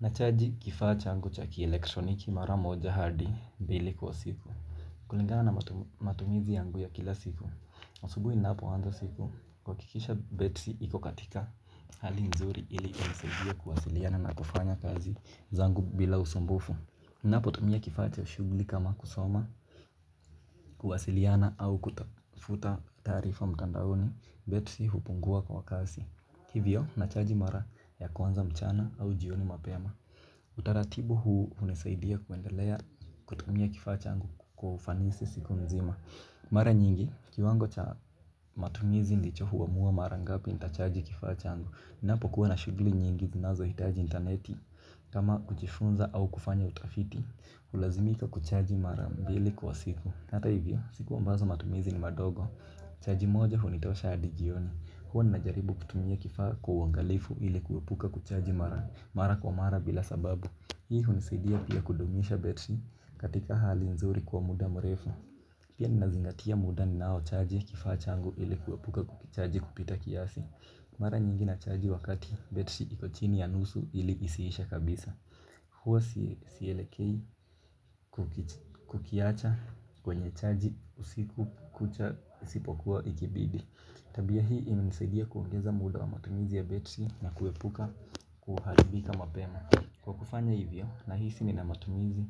Nachaji kifaa changu cha kielektroniki mara moja hadi mbili kwa siku. Kulingana matumizi yangu ya kila siku. Asubuhi ninapo anza siku huhakikisha Battery iko katika hali nzuri ili kunisaidia kuwasiliana na kufanya kazi zangu bila usumbufu. Nanapo tumia kifaa cha shughuli kama kusoma kuwasiliana au kutafuta taarifa mtandaoni Battery hupungua kwa kasi. Hivyo nachaji mara ya kwanza mchana au jioni mapema. Utaratibu huu unasaidia kuendelea kutumia kifaa changu kwa ufanisi siku nzima. Mara nyingi, kiwango cha matumizi ndicho huwamua mara ngapi nitachaji kifaa changu ninapokuwa na shughuli nyingi zinazo hitaji interneti. Kama kujifunza au kufanya utafiti hulazimika kuchaji mara mbili kwa siku hata hivyo, siku ambazo matumizi ni madogo. Chrji moja hunitosha hadi jioni. Huwa ninajaribu kutumia kifaa kwa uangalifu ili kuepuka kuchaji mara kwa mara bila sababu hii hunisaidia pia kudumisha battery katika hali nzuri kwa muda mrefu. Pia ninazingatia muda ninao chaji kifaa changu ili kuepuka kuchaji kupita kiasi. Mara nyingi nachaji wakati battery iko chini ya nusu ili isiishe kabisa. Huwa sielekei kukiacha kwenye chaji usiku kucha isipokuwa ikibidi. Tabia hii imenisaidia kuongeza muda wa matumizi ya Battery na kuepuka kuharibika mapema. Kwa kufanya hivyo nahisi nina matumizi